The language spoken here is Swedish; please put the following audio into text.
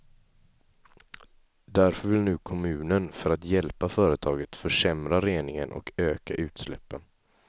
Därför vill nu kommunen, för att hjälpa företaget, försämra reningen och öka utsläppen.